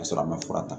Ka sɔrɔ a ma fura ta